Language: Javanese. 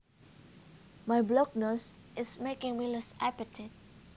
My blocked nose is making me lose appetite